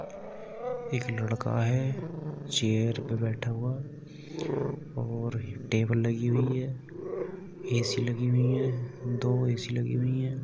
एक लड़का है चेयर पे बैठा हुआ और टेबल लगी हुई है ऐ.सी लगी हुई है दो ऐ.सी लगी हुई है।